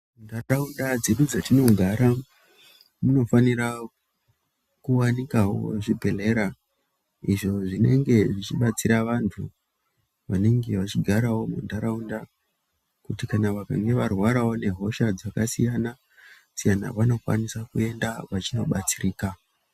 Muntaraunda medu matinogara munofanika kuwanikawo zvibhedhlera izvo zvinenge zvichibatsira vantu vanenge vechigarawo muntaraunda kuti kana vakange varwarawo ngehosha dzakasiyana siyana vanokwanisa kuenda vechindo batsirika.